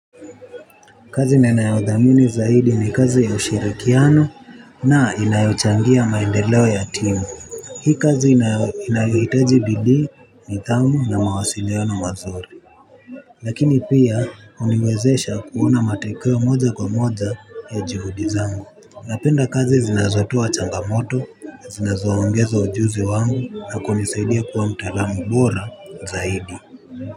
Kazi ninayodhamini zaidi ni kazi ya ushirikiano na inayochangia maendeleo ya timu. Hii kazi inayohitaji bidii nidhamu na mawasiliano mazuri. Lakini pia huniwezesha kuona matokeo moja kwa moja ya juhudi zangu. Napenda kazi zinazotoa changamoto na zinazoongeza ujuzi wangu na kunisaidia kuwa mtalaamu bora zaidi.